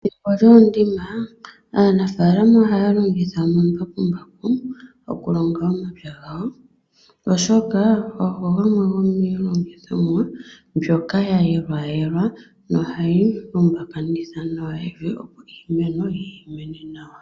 Pethimbo lyoondima aanafaalama ohaa longitha omambakumbaku okulonga omapya gawo. Oshoka ogo gamwe gomiilongithomwa mbyoka yayelwayelwa nohayilumbakanitha nawa evi opo iimeno yimene nawa.